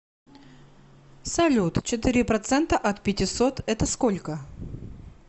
салют четыре процента от пятисот это сколько